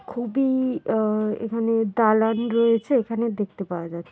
খুবই আ এখানে দালান রয়েছে এখানে দেখতে পাওয়া যা --